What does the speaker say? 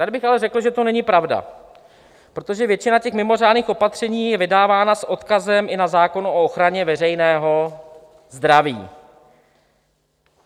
Tady bych ale řekl, že to není pravda, protože většina těch mimořádných opatření je vydávána s odkazem i na zákon o ochraně veřejného zdraví.